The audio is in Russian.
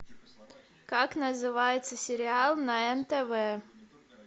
как называется сериал на нтв